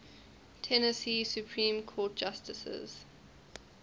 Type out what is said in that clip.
tennessee supreme court justices